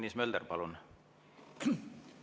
Tõnis Mölder, palun!